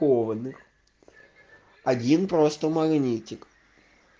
один просто магнитик